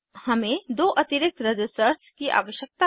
हमें दो अतिरिक्त रज़िस्टर्स की आवश्यकता है